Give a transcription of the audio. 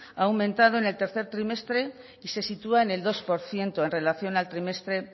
ha aumentado en el tercer trimestre y se sitúa en el dos por ciento en relación al trimestre